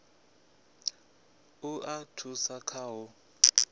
u a thusa kha u